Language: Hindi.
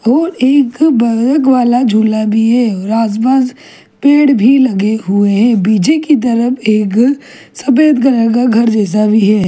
और एक बरक वाला झूला भी है और आसपास पेड़ भी लगे हुए हैं पीछे की तरफ एक सफेद कलर का घर जैसा भी है।